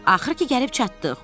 Axır ki, gəlib çatdıq.